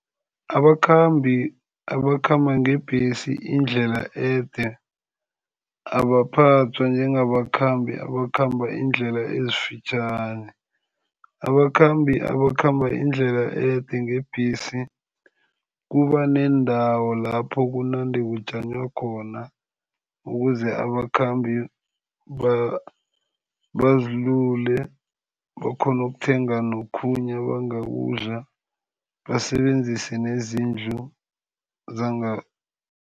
Abakhambi abakhamba ngebhesi indlela ede abaphathwa njengabakhambi abakhamba indlela ezifitjhani. Abakhambi abakhamba indlela ede ngebhesi, kuba neendawo lapho kunande kujanywa khona, ukuze abakhambi bazilule, bakhone ukuthenga nokhunye abangakudla basebenzise nezindlu